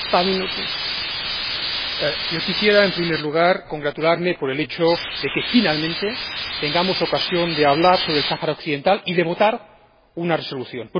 Señora Presidenta, quisiera, en primer lugar, congratularme por el hecho de que finalmente tengamos ocasión de hablar sobre el Sáhara Occidental y de votar una resolución.